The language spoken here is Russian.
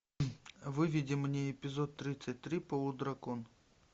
выведи мне эпизод тридцать три полудракон